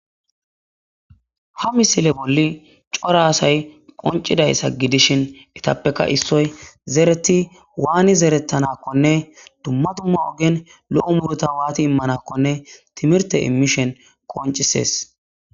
ha misile bolli cora asay qoncidayssa gidishin etappeka issoy zereti waani zerettanakkone dumma dumma ogen lo7o murota waati immanakkone timirte imishen qoncisees